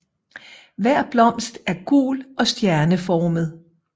Hver blomst er gul og stjerneformet